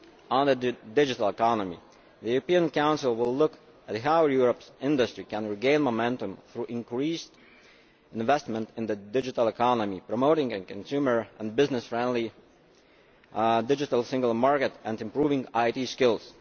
On the digital economy, the European Council will look at how Europe's industry can regain momentum through increased investment in the digital economy, promoting a consumer and business friendly digital single market and improving IT skills.